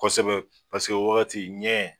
Kosɛbɛ paseke wagati ɲɛ